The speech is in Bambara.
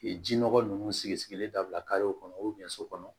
ji nɔgɔ ninnu sigi sigilen dabila kɔnɔ so kɔnɔ